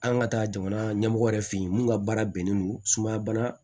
An ka taa jamana ɲɛmɔgɔ yɛrɛ fɛ yen mun ka baara bɛnnen don sumaya bana